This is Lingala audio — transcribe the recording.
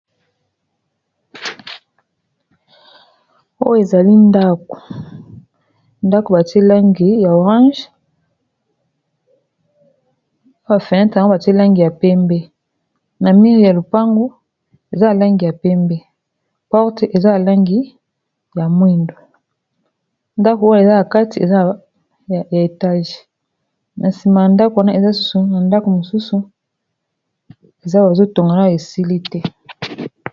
oyo ezali ndako ndako batie langi ya orange a ba feni ntango batielangi ya pembe na mire ya lopango eza alangi ya pembe porte eza alangi ya mwindu ndako oyo eza ya kati ezaya etage na nsima ya ndako wana eza susu na ndako mosusu eza bazotongana esili te